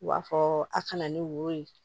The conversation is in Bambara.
U b'a fɔ a kana ni woro ye